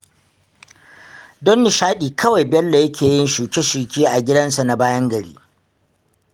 Don nishaɗi kawai Bello yake yin shuke-shuke a gidansa na bayan gari